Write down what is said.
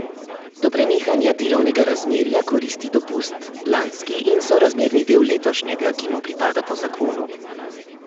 Do prenehanja delovnega razmerja koristi dopust, lanski in sorazmerni del letošnjega, ki mu pripada po zakonu.